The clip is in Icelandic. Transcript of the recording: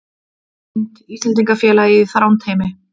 Mynd: Íslendingafélagið í Þrándheimi